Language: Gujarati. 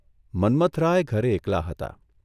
મન્મથરાય ઘરે એકલા હતા.